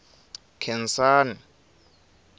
nkhensani